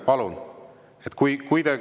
Palun!